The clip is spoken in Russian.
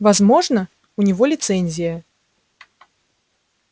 возможно у него лицензия